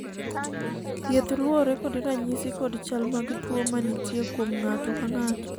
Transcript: thieth luwore kod ranyisi kod chal mag tuo ma nitie kuom ng'ato ka ng'ato